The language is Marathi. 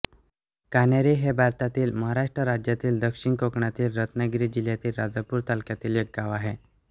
कानेरी हे भारतातील महाराष्ट्र राज्यातील दक्षिण कोकणातील रत्नागिरी जिल्ह्यातील राजापूर तालुक्यातील एक गाव आहे